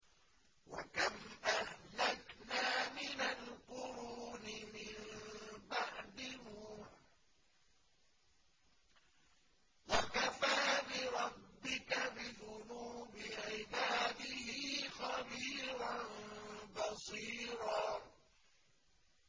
وَكَمْ أَهْلَكْنَا مِنَ الْقُرُونِ مِن بَعْدِ نُوحٍ ۗ وَكَفَىٰ بِرَبِّكَ بِذُنُوبِ عِبَادِهِ خَبِيرًا بَصِيرًا